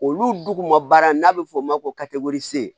Olu duguma baara n'a bɛ f'o ma ko